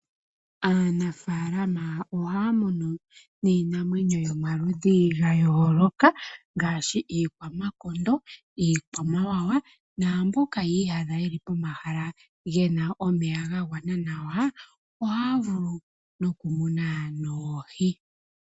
Aanafalama ohaya munu niinamwenyo yomaludhi yayooloka ngaashi iikwamakondo niikwamawawa naamboka yiniyadha yeli pomahala gena omeya gagwana nawa ohaya vulu okumuna noohi.